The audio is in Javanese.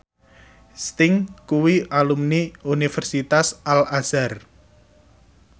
Sting kuwi alumni Universitas Al Azhar